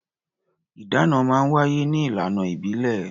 Ìdáná máa ń wáyé ní ìlànà ìbílẹ̀.